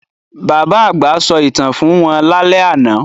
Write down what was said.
Bàbá àgbà sọ ìtàn fún wọn lálẹ́ àná